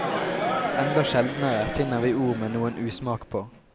Enda sjeldnere finner vi ord med noen usmak på.